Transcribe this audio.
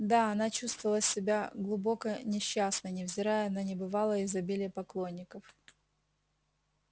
да она чувствовала себя глубоко несчастной невзирая на небывалое изобилие поклонников